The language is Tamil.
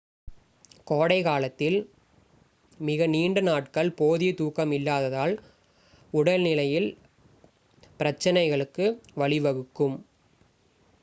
கோடை காலத்தில் மிக நீண்ட நாட்கள் போதிய தூக்கம் இல்லாததால் உடல் நிலையில் பிரச்சினைகளுக்கு வழிவகுக்கும்